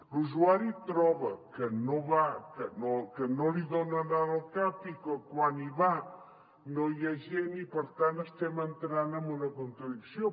l’usuari troba que no li donen hora al cap i que quan hi va no hi ha gent i per tant estem entrant en una contradicció